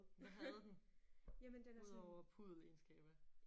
Hvad havde den? Udover puddelegenskaber